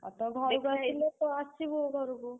ଅ ତ ଘରୁକୁ ତ ଆସିବୁ ଘରୁକୁ।